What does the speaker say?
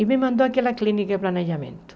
E me mandou àquela clínica de planejamento.